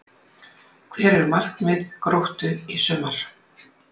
Hver eru markmið Gróttu í sumar?